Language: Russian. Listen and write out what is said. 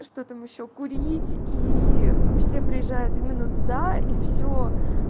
что там ещё курить и все приезжают именно туда и все